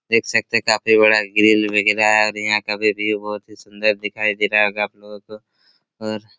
देख सकते है काफी बड़ा ग्रील वगैरा है और यहाँ का भी व्यू बहुत ही सुन्दर दिखाई दे रहा होगा आप लोगो को और